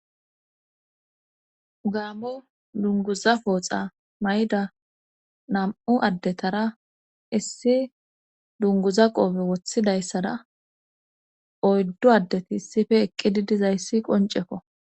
Gaamo dunguza pooxa may7da nam7u addetara issi dunguza qoofe woththidayssada oyddu addeti sife eqqidi dizayssi qoncekko.